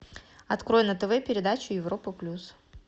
открой на тв передачу европа плюс